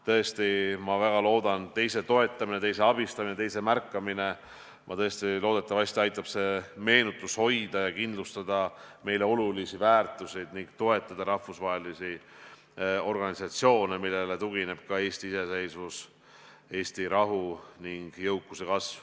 Tõesti, ma väga loodan, teise toetamine, teise abistamine, teise märkamine aitab hoida ja kindlustada meile olulisi väärtuseid ning toetada ka rahvusvahelisi organisatsioone, millele tugineb ka Eesti iseseisvus, Eesti rahu ning jõukuse kasv.